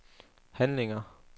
handlinger